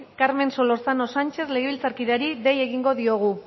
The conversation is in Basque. carmen solorzano sanchez legebiltzarkideari dei egingo diogu